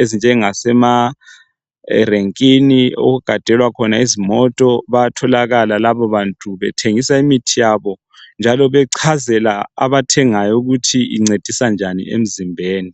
ezinjengasemarenkini, okugadelwa khona izimota bayatholakala labo bantu bethengisa imithi yabo njalo bechazela abathengayo ukuthi incedisa njani emzimbeni.